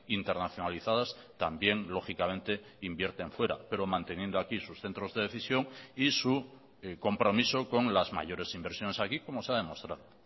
internacionalizadas también lógicamente invierten fuera pero manteniendo aquí sus centros de decisión y su compromiso con las mayores inversiones aquí como se ha demostrado